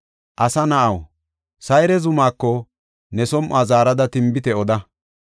“Asa na7aw, Sayre zumako ne som7uwa zaarada tinbite oda: